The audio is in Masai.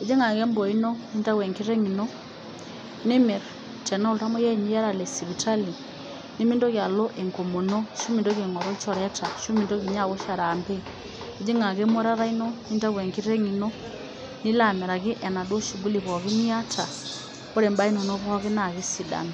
Ejing ake emboo ino nindayu enkiteng' ino ni mirr tenaa oltamoyiai ninye iyata lesipitali nimintoki alo enkomono arashu mintoki aingoru ilchoreta arashu mintoki ninye awosh araambe, ijing' ake emuatata ino nintayu enkiteng' ino nilo amiraki enaduo shugulini pookin niata ore imbaa inono pookin naa kesidanu.